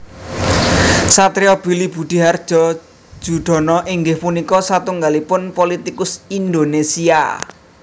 Satrio Billy Budihardjo Joedono inggih punika satunggalipun politikus Indonésia